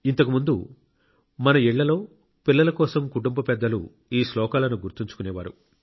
ఇంతకు ముందు మన ఇళ్లలో పిల్లల కోసం కుటుంబ పెద్దలు ఈ శ్లోకాలను గుర్తుంచుకునేవారు